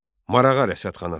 Marağa Rəsadxanası.